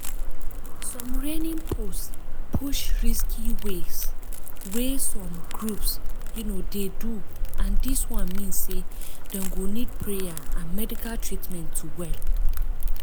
some reigning post push risky way wey some groups um dey do and dis one mean sey dem go nid prayer and medical treatment to well.